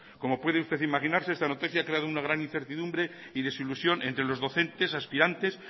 como puede usted imaginarse esta noticia ha creado una gran incertidumbre y desilusión entre los docentes y aspirantes